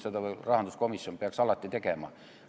Seda aga rahanduskomisjon peaks alati tegema.